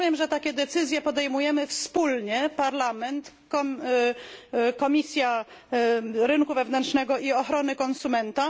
Rozumiem, że takie decyzje podejmujemy wspólnie Parlament, Komisja Rynku Wewnętrznego i Ochrony Konsumentów.